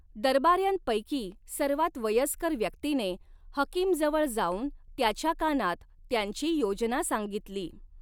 दरबार्यांपैकी सर्वात वयस्कर व्यक्तीने हकीमजवळ जाऊन त्याच्या कानात त्यांची योजना सांगितली.